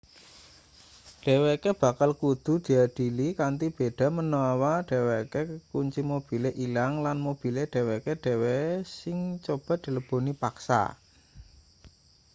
dheweke bakal kudu diadili kanthi beda menawa dheweke kunci mobile ilang lan mobile dheweke dhewe sing coba dileboni paksa